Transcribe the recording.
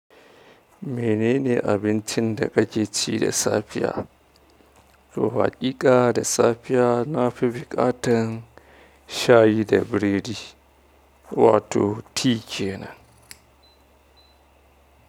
Menene abincin da kake ci da safiya? Haƙiƙa da safiya na fi buƙatar shayi da biredi, wato tea kenan.